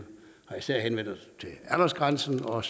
aldersgrænsen og